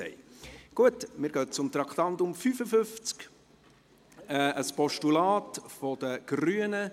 Wir kommen zum Traktandum 55, zu einem Postulat der Grünen.